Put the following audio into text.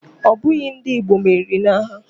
Ọ bụghị ndị Igbo meriri n'agha